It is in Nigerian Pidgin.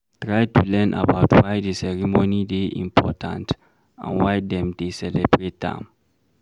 Try to learn about why di ceremony dey important and why dem dey celebrate am